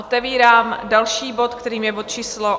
Otevírám další bod, kterým je bod číslo